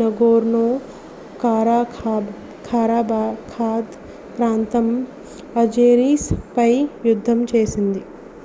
Nagorno Karabakh ప్రాంతం Azeris పై యుద్ధం చేసింది